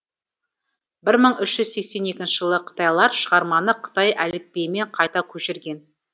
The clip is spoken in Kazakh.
бір мың үш жүз сексен екінші жылы қытайлар шығарманы қытай әліпбиімен қайта көшірген